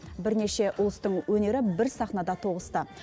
бірнеше ұлыстың өнері бір сахнада тоғысты